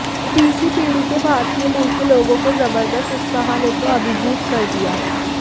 तीसरी पीढ़ी के भारतीय मूल के लोगों के जबरदस्त उत्साह ने तो अभिभूत कर दिया